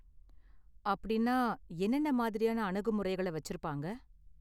அப்படின்னா, என்னென்ன மாதிரியான அணுகுமுறைகளை வச்சிருப்பாங்க?